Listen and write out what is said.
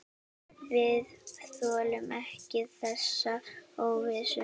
Við þolum ekki þessa óvissu.